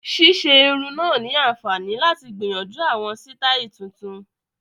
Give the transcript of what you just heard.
Ṣíṣe irun náà ni àǹfààní láti gbìyànjú àwọn sítáì tuntun